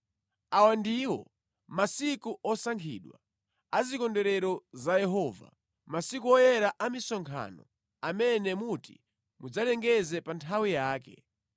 “ ‘Awa ndiwo masiku osankhidwa a zikondwerero za Yehova, masiku woyera a misonkhano amene muti mudzalengeze pa nthawi yake: